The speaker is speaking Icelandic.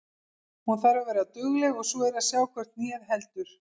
Hún þarf að vera dugleg og svo er að sjá hvort hnéð heldur.